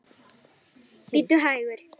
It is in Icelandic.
Bíddu hægur.